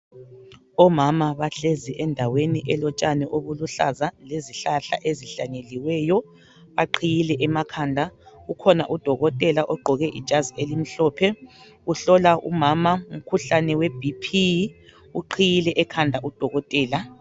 Omama bahlezi endaweni elotshani obuluhlaza lezihlahla ezihlanyeliweyo. Baqhiyile emakhanda. Ukhona udokotela ogqoke ijazi elimhlophe uhlola umama umkhuhlane weBP. Uqhiyile ekhanda udokotela.